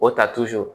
O ta